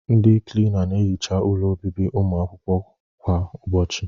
Ndị Klina na-ehicha ụlọ obibi ụmụ akwụkwọ kw